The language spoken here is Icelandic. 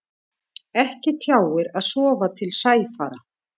Ekki tjáir að sofa til sæfara.